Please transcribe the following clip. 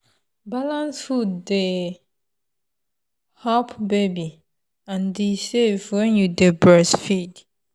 balanced food dey help baby and e safe when you dey breastfeed.